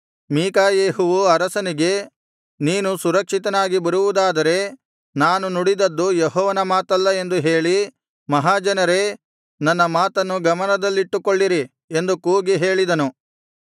ಮೀಕಾಯೆಹುವು ಅರಸನಿಗೆ ನೀನು ಸುರಕ್ಷಿತನಾಗಿ ಬರುವುದಾದರೆ ನಾನು ನುಡಿದದ್ದು ಯೆಹೋವನ ಮಾತಲ್ಲ ಎಂದು ಹೇಳಿ ಮಹಾ ಜನರೇ ನನ್ನ ಮಾತನ್ನು ಗಮನದಲ್ಲಿಟ್ಟುಕೊಳ್ಳಿರಿ ಎಂದು ಕೂಗಿ ಹೇಳಿದನು